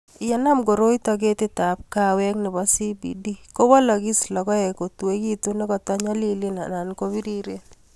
yenam koroito ketitab kaawek nebo CBD,kowolokis lokoek kotuekitun nekoto nyolilen anan ko biriren